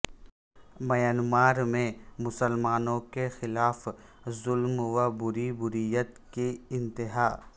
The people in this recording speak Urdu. میانمار میں مسلمانوں کے خلاف ظلم و بربریت کی انتہا